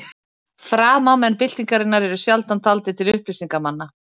Framámenn byltingarinnar eru sjaldan taldir til upplýsingarmanna.